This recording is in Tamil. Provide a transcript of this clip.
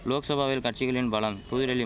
லோக்சபாவில் கட்சிகளின் பலம் புதுடில்லிம்